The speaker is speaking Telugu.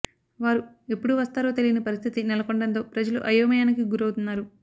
వారు ఎప్పుడు వస్తారో తెలియని పరిస్థితి నెలకొనడంతో ప్రజలు అయోమయానికి గురవుతున్నారు